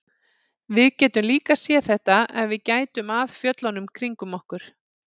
Við getum líka séð þetta ef við gætum að fjöllunum kringum okkur.